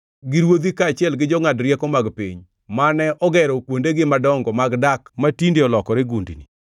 gi ruodhi kaachiel gi jongʼad rieko mag piny, mane ogero kuondegi madongo mag dak matinde olokore gundni,